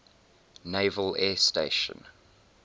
naval air station